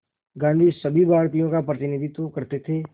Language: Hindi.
गांधी सभी भारतीयों का प्रतिनिधित्व करते थे